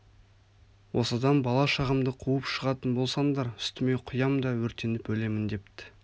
осыдан бала-шағамды қуып шығатын болсаңдар үстіме құям да өртеніп өлемін депті